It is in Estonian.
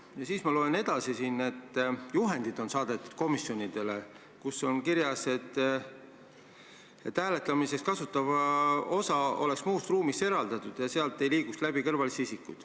Ja siis loen ma siit veel, et komisjonidele on saadetud juhendid, kus on kirjas, et hääletamiseks kasutatav osa peab olema muust ruumist eraldatud ja et sealt ei tohi läbi liikuda kõrvalisi isikuid.